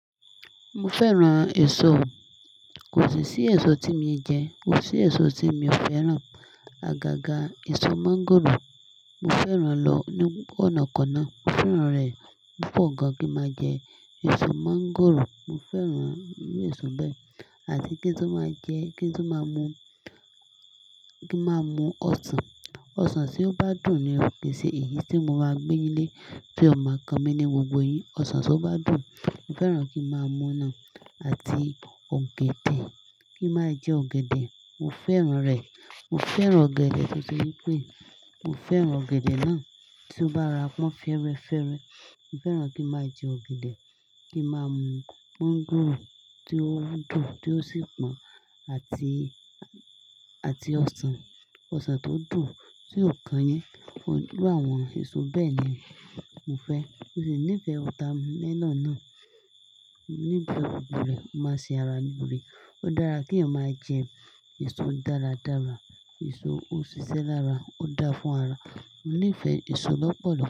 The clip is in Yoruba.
Mo fẹ́ran èso o. Kò sí sí èso tí mii jẹ, kò sí èso tí mi ò fẹ́ràn. Agaga èso mọ́ngòrò, mo fẹ́ràn lọ ní ọ̀nà-kona. Mo fẹ́ràn rẹ̀ púpọ̀ gan kí máa jẹ èso mọ́ngòrò. Mo fẹ́ràn iru èso bẹ́ẹ̀. Àti kí n tun máa jẹ́, kí n tun máa mu, kí máa mu ọsàn. Ọsàn tí ó bá dùn ni ò kii ṣe èyí tí mo máa gbéyin le ti o mà kan mí ní gbogbo eyín. Ọsàn tí ó bá dùn mo fẹ́ràn kí. N máa mú náà àti ọ̀gẹ̀dẹ̀. Kí máa jẹ ọ̀gẹ̀dẹ̀, mo fẹ́ràn rẹ̀. Mo fẹ́ràn ọ̀gẹ̀dẹ̀ tó ṣe wí pé mo fẹ́ràn ọ̀gẹ̀dẹ̀ náà tí ó bá rora pọ́ń fẹ́rẹ́fẹ́rẹ́. Mo fẹ́ràn kí n máa jẹ ọ̀gẹ̀dẹ̀, kí máa mu mọ́ngòrò tí ó dùn tí ó sì pọ́n, àti ọsàn. Ọsàn tó dùn tí ò kanyín. Iru àwọn èso bẹ́ẹ̀ ni mo fẹ́. Mo sì nífẹ̀ẹ́ water melon náà, mo nife gbogbo rẹ̀, ó máa ṣe ara loore. Ó dára kí èèyàn maa jẹ èso dáradára, èso ó ṣiṣẹ́ lára, ó dáa fún ara. Mo nífẹ̀ẹ́ èso lọ́pọ̀lọ̀